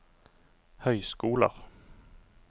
høyskoler